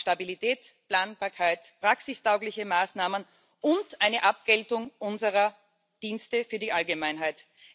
Wir brauchen Stabilität, Planbarkeit, praxistaugliche Maßnahmen und eine Abgeltung unserer Dienste für die Allgemeinheit.